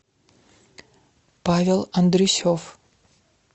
павел андрюсев